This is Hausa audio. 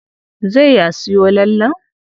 Zai ya siyo lallen?